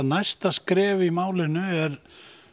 næsta skref í málinu er